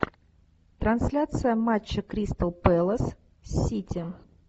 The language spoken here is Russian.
трансляция матча кристал пэлас сити